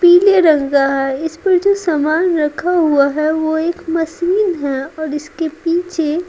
पीले रंग का है इस पर जो सामान रखा हुआ हैवो एक मशीन है और इसके पीछे--